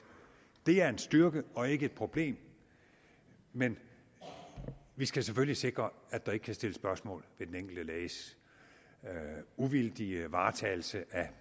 det er en styrke og ikke et problem men vi skal selvfølgelig sikre at der ikke kan stilles spørgsmål ved den enkelte læges uvildige varetagelse af